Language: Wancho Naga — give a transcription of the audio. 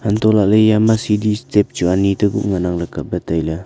hantoh lah ley ema sidi chu ani teku ngan ang kap ley tai ley.